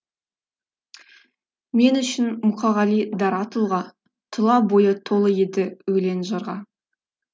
мен үшін мұқағали дара тұлға тұла бойы толы еді өлең жырға